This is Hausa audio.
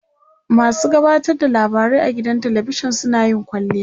masu gabatar da labarai a gidan talavishan suna yin kwalliya